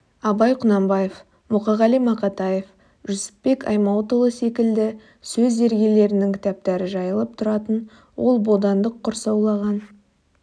абай құнанбаев мұқағали мақатаев жүсіпбек аймауытұлы секілді сөз зергерлерінің кітаптары жайылып тұратын ол бодандық құрсаулаған